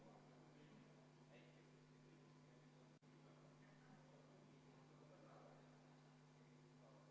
Head sõbrad, tegemist on väga halva eelnõuga ja ega ka eelnõu esitlus teab mis heade killast ei olnud.